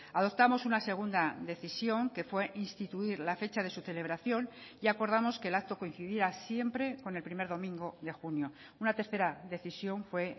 adoptamos una segunda decisión que fue instituir la fecha de su celebración y acordamos que el acto coincidía siempre con el primer domingo de junio una tercera decisión fue